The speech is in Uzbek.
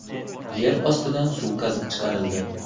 Yer ostidan suv qazib chiqarildi.